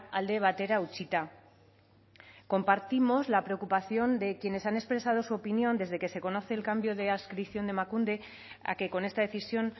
alde batera utzita compartimos la preocupación de quienes han expresado su opinión desde que se conoce el cambio de adscripción de emakunde a que con esta decisión